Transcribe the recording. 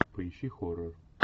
поищи хоррор